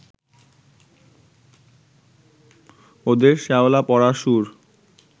ওদের শ্যাওলা-পড়া সুর